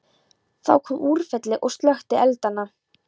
Þá kom úrfelli og slökkti eldana.